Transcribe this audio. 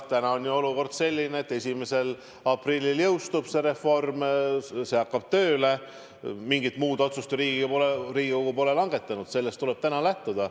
Täna on olukord selline, et 1. aprillil jõustub see reform, see hakkab tööle, mingit muud otsust ju Riigikogu pole langetanud, sellest tuleb täna lähtuda.